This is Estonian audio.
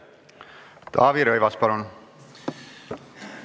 Taavi Rõivas, palun!